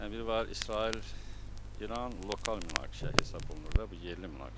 Yəni bir var İsrail, İran lokal münaqişə hesab olunur da, bu yerli münaqişədir.